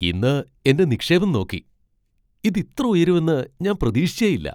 ഇന്ന് എന്റെ നിക്ഷേപം നോക്കി, ഇത് ഇത്ര ഉയരുമെന്ന് ഞാന് പ്രതീക്ഷിച്ചേയില്ല.